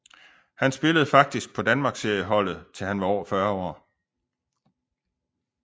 Han spillede faktisk på Danmarksserieholdet til han var over 40 år